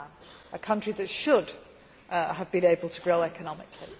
It is a country that should have been able to grow economically.